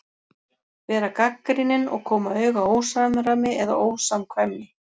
Vera gagnrýnin og koma auga á ósamræmi eða ósamkvæmni.